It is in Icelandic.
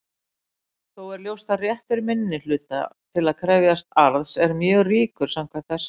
Þó er ljóst að réttur minnihluta til að krefjast arðs er mjög ríkur samkvæmt þessu.